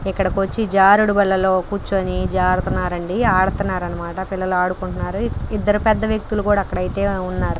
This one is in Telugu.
ఇక్కడకు వచ్చి జారుడు బల్ల లో కూర్చుని జారుతున్నారు అండి ఆడుతున్నారు అన్నమాట పిల్లలు ఆడుకుంటున్నారు ఇద్దరు పెద్ద వ్యక్తులు కూడా అక్కడ అయితే ఉన్నారు.